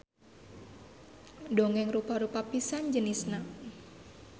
Dongeng rupa-rupa pisan jenisna.